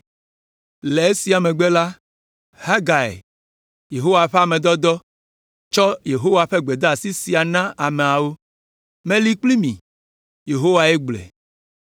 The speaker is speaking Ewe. Le esia megbe la, Hagai, Yehowa ƒe ame dɔdɔ, tsɔ Yehowa ƒe gbedeasi sia na ameawo, “Meli kpli mi,” Yehowae gblɔe.